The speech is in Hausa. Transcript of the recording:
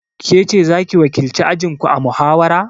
Kece zaki wakilci ajinku a muhawara?